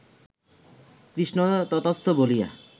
কৃষ্ণ তথাস্তু বলিয়া